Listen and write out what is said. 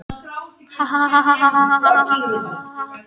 Njáll, einhvern tímann þarf allt að taka enda.